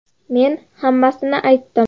Men hammasini aytdim”.